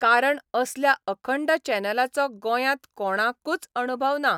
कारण असल्या अखंड चॅनलाचो गोंयांत कोणाकूच अणभव ना.